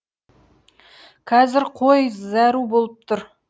қазір қой зәру болып тұр